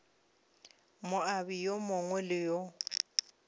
moabi yo mongwe le yo